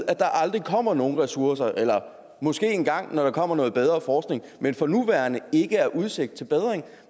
at der aldrig kommer nogen ressourcer eller måske engang når der kommer noget bedre forskning men som for nuværende ikke har udsigt til bedring